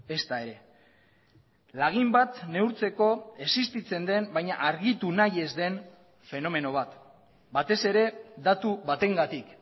ezta ere lagin bat neurtzeko existitzen den baina argitu nahi ez den fenomeno bat batez ere datu batengatik